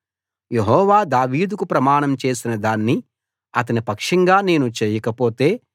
యెహోవా దావీదుకు ప్రమాణం చేసిన దాన్ని అతని పక్షంగా నేను చేయకపోతే